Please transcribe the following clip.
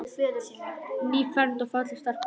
Nýfermd og falleg stelpan okkar.